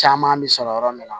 Caman bɛ sɔrɔ yɔrɔ min na